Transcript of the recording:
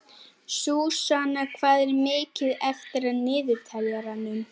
Súsanna, hvað er mikið eftir af niðurteljaranum?